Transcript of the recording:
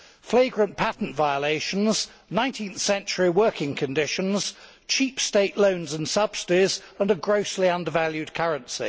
Flagrant patent violations, 19th century working conditions, cheap state loans and subsidies and a grossly under valued currency.